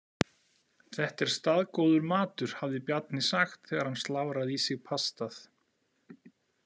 Þetta er staðgóður matur, hafði Bjarni sagt þegar hann slafraði í sig pastað.